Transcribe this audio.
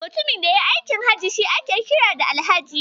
Mutumin da yayi aikin Hajji shi ake kira Alhaji.